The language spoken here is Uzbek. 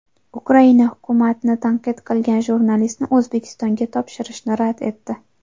Ukraina hukumatni tanqid qilgan jurnalistni O‘zbekistonga topshirishni rad etdi.